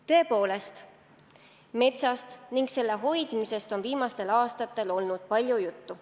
Tõepoolest, metsast ning selle hoidmisest on viimastel aastatel olnud palju juttu.